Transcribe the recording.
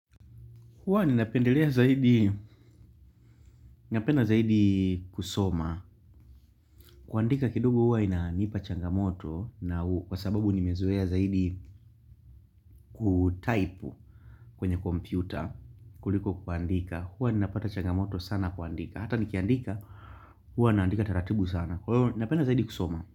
Huwa ninapendelea zaidi, napenda zaidi kusoma. Kuandika kidogo huwa inanipa changamoto na kwa sababu nimezoea zaidi kutaipu kwenye kompyuta kuliko kuandika. Huwa ninapata changamoto sana kuandika. Hata nikiandika huwa naandika taratibu sana. Kwa hivyo napenda zaidi kusoma.